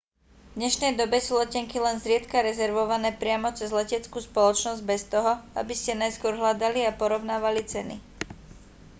v dnešnej dobe sú letenky len zriedka rezervované priamo cez leteckú spoločnosť bez toho aby ste najskôr hľadali a porovnávali ceny